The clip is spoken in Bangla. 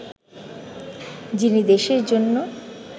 যিনি দেশের জন্য